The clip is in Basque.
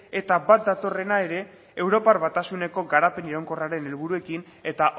eta bat datorrena ere europar batasuneko garapen iraunkorraren helburuekin eta